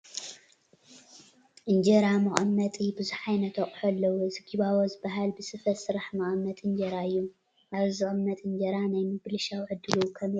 እንጀራ መቐመጢ ብዙሕ ዓይነት ኣቑሑ ኣለዉ፡፡ እዚ ጊባቦ ዝበሃል ብስፈ ዝስራሕ መቐመጢ እንጀራ እዩ፡፡ ኣብዚ ዝቕመጥ እንጀራ ናይ ምብልሻው ዕድሉ ከመይ እዩ?